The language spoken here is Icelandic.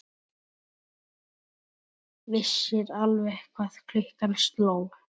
Vissir alveg hvað klukkan sló!